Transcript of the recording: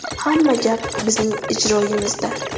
Hamma gap bizning ijroyimizda.